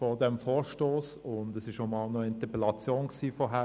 Es hatte zuvor auch einmal eine Interpellation dazu gegeben.